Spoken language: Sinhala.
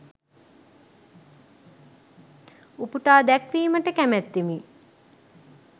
උපුටා දැක්වීමට කැමැත්තෙමි.